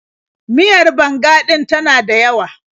Miyar banga ɗin ta na dayawa.